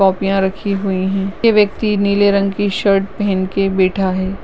कोपिया रखी हुई है ये व्यक्ति नीले रंग की शर्ट पहन के बेठा है।